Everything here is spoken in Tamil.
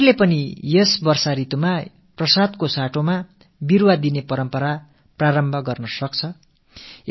கோயில்களே கூட பிரசாதத்துக்கு பதிலாக மழைக்காலத்தில் மரக்கன்றுகளை அளிக்கும் பாரம்பரியத்தை ஆரம்பிக்கலாம்